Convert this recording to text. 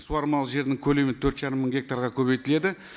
суармалы жердің көлемі төрт жарым мың гектарға көбейтіледі